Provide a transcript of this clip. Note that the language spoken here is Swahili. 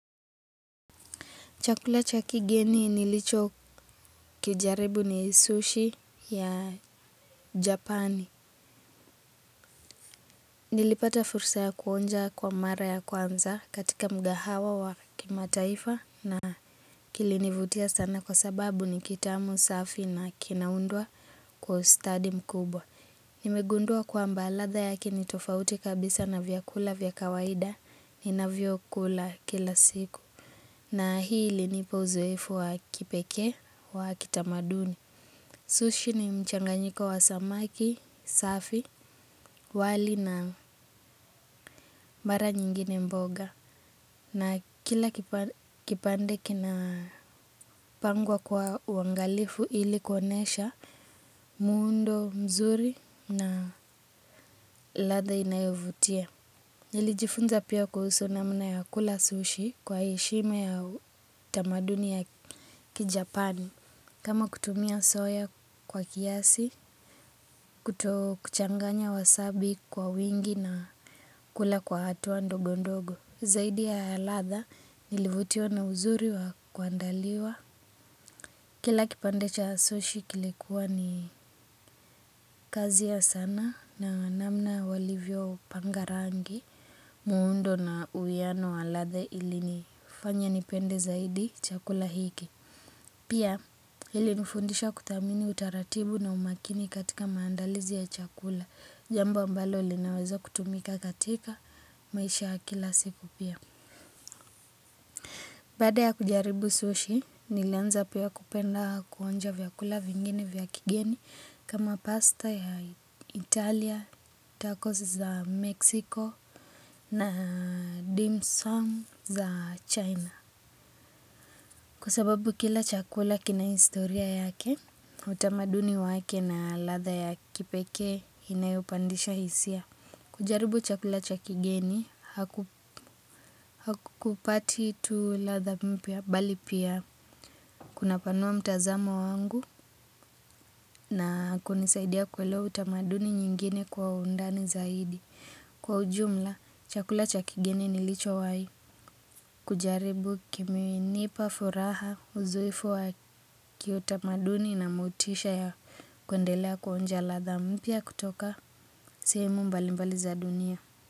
Chakula cha kigeni nilicho kijaribu ni sushi ya japani. Nilipata fursa ya kuonja kwa mara ya kwanza katika mgahawa wa kimataifa na kilinivutia sana kwa sababu ni kitamu safi na kinaundwa kwa ustadi mkubwa. Nimegundwa kwamba ladha yake ni tofauti kabisa na vyakula vya kawaida ninavyokula kila siku. Na hii ilinipa uzoefu wa kipekee wa kitamaduni. Sushi ni mchanganyiko wa samaki, safi, wali na mara nyingine mboga. Na kila kipande kinapangwa kwa uangalifu ili kuonesha muundo mzuri na ladha inayovutia. Njilijifunza pia kuhusu namna ya kula sushi kwa heshima ya kitamaduni ya kijapani. Kama kutumia soya kwa kiasi, kuto kuchanganya wasabi kwa wingi na kula kwa hatua ndogo ndogo. Zaidi ya ladha nilivutiwa na uzuri wa kuandaliwa. Kila kipande cha sushi kilikuwa ni kazi ya sanaa na namna walivyo pangarangi. Muundo na uwiano wa ladha ili nifanya nipende zaidi chakula hiki. Pia, hili nifundisha kuthamini utaratibu na umakini katika maandalizi ya chakula. Jambo ambalo linaweza kutumika katika maisha ya kila siku pia. Baada ya kujaribu sushi, nilianza pia kupenda kuonja vyakula vingine vya kigeni kama pasta ya Italia, tacos za Mexico na dimsum za China. Kwa sababu kila chakula kina historia yake, utamaduni wake na ladha ya kipekee inayopandisha hisia. Kujaribu chakula cha kigeni, hakukupati tu ladha mpya bali pia. Kuna panua mtazamo wangu na kunisaidia kuelewa utamaduni nyingine kwa undani zaidi. Kwa ujumla, chakula cha kigeni nilicho wai. Kujaribu kimenipa furaha, uzoefu wa kiutamaduni na motisha ya kuendelea kuonja ladha mpya kutoka sehemu mbali mbali za dunia.